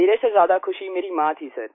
मेरे से ज्यादा ख़ुशी मेरी माँ थी सर